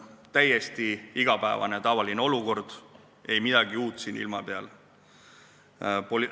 Täiesti igapäevane ja tavaline olukord, ei midagi uut siin ilma peal.